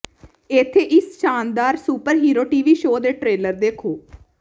ਇੱਥੇ ਇਸ ਸ਼ਾਨਦਾਰ ਸੁਪਰਹੀਰੋ ਟੀਵੀ ਸ਼ੋਅ ਦੇ ਟ੍ਰੇਲਰ ਦੇਖੋ